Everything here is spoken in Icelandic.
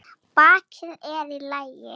Bakið er í lagi.